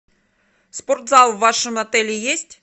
спортзал в вашем отеле есть